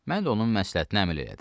Mən də onun məsləhətinə əməl elədim.